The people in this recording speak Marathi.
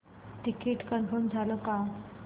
तिकीट कन्फर्म झाले का